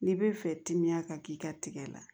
N'i bɛ fɛ timiya ka k'i ka tigɛ la